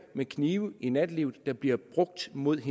med knive i nattelivet der bliver brugt mod